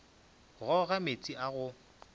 go ga meetse a go